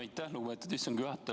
Aitäh, lugupeetud istungi juhataja!